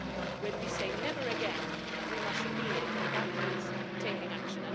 When we say never again', we must mean it, and that means taking action.